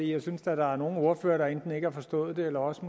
jeg synes da der er nogle ordførere der enten ikke har forstået det eller også